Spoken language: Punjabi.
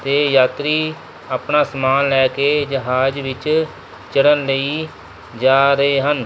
ਦੇ ਯਾਤਰੀ ਆਪਣਾ ਸਮਾਨ ਲੈ ਕੇ ਜਹਾਜ਼ ਵਿੱਚ ਚੜ੍ਹਨ ਲਈ ਜਾ ਰਹੇ ਹਨ।